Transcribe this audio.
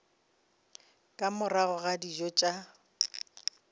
ka morago ga dijo tša